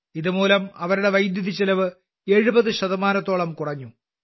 ഇതുമൂലം അവരുടെ വൈദ്യുതിചെലവ് 70 ശതമാനത്തോളം കുറഞ്ഞു